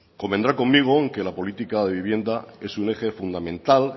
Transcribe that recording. convendrá conmigo en que la política de vivienda es un eje fundamental